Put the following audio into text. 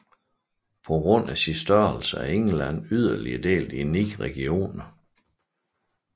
På grund af sin størrelse er England yderligere delt i 9 regioner